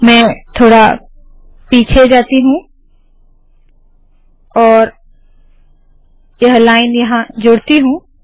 मैं थोडा पीछे जाती हूँ और यह लाइन यहाँ जोड़ती हूँ